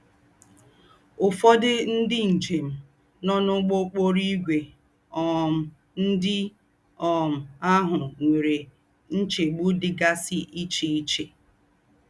Ụ́fọ̀dọ̀ ndí́ ńjém nọ̀ n’úgbọ́ òkpòrò ígwḗ um ndí́ um àhù nwéré nchégbù dí́gásí íché íché